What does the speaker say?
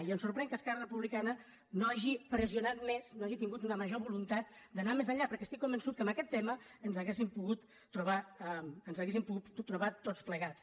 i ens sorprèn que esquerra republicana no hagi pressionat més no ha·gi tingut una major voluntat d’anar més enllà perquè estic convençut que en aquest tema ens hauríem po·gut trobar tots plegats